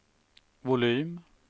volym